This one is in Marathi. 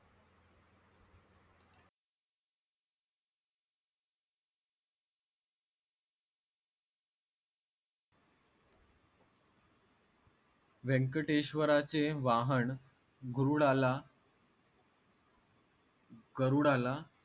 व्यंकटेश्वराचे वाहन गरुडाला गरुडाला